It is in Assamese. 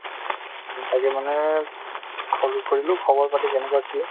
উম, তাকে মানে call কৰিলো খবৰ পাতি কেনেকুৱা কি